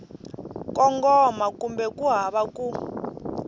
kongoma kumbe ku hava ku